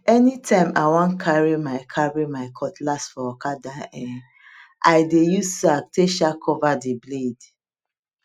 anytime i wan carry my carry my cutlass for okada um i dey use sack take um cover the blade